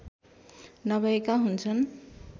नभएका हुन्छन्